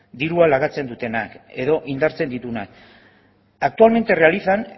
diruan lagatzen dutenak edo indartzen dutenak actualmente realizan